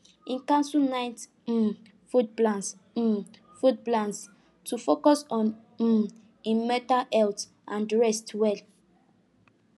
he cancel night um food plans um food plans to focus on um him mental health and rest well